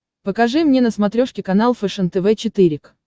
покажи мне на смотрешке канал фэшен тв четыре к